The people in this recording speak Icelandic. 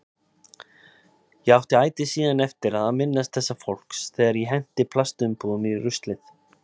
Ég átti ætíð síðan eftir að minnast þessa fólks þegar ég henti plastumbúðum í ruslið.